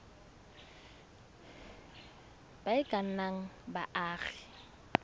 ba e ka nnang baagi